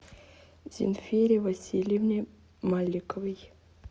зинфире васильевне маликовой